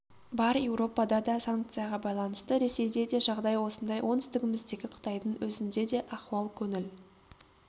бар еуропада да санкцияға байланысты ресейде де жағдай осындай оңтүстігіміздегі қытайдың өзінде де ахуал көңіл